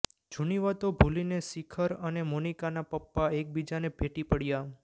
જૂની વાતો ભૂલીને શિખર અને મોનિકાના પપ્પા એકબીજાને ભેટી પડ્યા